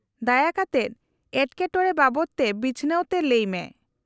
-ᱫᱟᱭᱟ ᱠᱟᱛᱮᱫ ᱮᱴᱠᱮᱴᱚᱬᱮ ᱵᱟᱵᱚᱫᱛᱮ ᱵᱤᱪᱷᱱᱟᱹᱣ ᱛᱮ ᱞᱟᱹᱭ ᱢᱮ ᱾